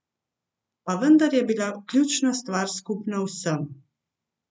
Pa vendar je bila ključna stvar skupna vsem.